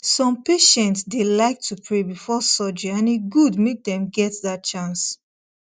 some patients dey like to pray before surgery and e good make dem get that chance